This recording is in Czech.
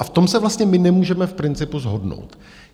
A v tom se vlastně my nemůžeme v principu shodnout.